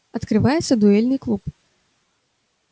открывается дуэльный клуб